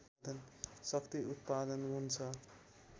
शक्ति उत्पादन हुन्छ